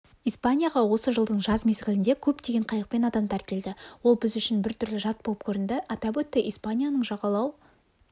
испанияға осы жылдың жаз мезгілінде көптеген қайықпен адамдар келді ол біз үшін бір түрлі жат болып көрінді атап өтті испанияның жағалау